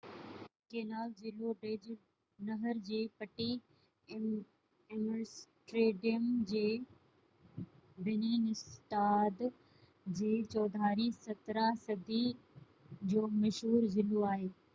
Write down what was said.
canal ضلعو ڊچ: نهر جي پٽي ايمسٽرڊيم جي بنين اسٽاد جي چوڌاري 17 صدي جو مشهور ضلعو آهي